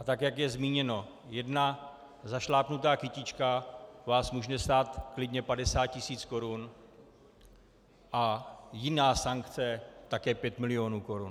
A tak, jak je zmíněno, jedna zašlápnutá kytička vás může stát klidně 50 tisíc korun a jiná sankce také 5 milionů korun.